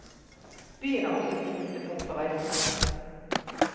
Byen er også et knutepunkt for reisende.